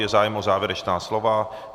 Je zájem o závěrečná slova?